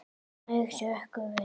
Þau hrökkva við.